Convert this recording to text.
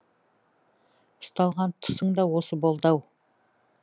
ұсталған тұсың да осы болды ау